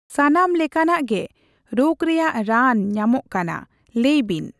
ᱥᱟᱱᱟᱢ ᱞᱮᱠᱟᱱᱟᱜ ᱜᱮ ᱨᱳᱜᱽ ᱨᱮᱭᱟᱜ ᱨᱟᱱ ᱧᱟᱢᱚᱜ ᱠᱟᱱᱟ, ᱞᱟᱹᱭ ᱵᱤᱱ᱾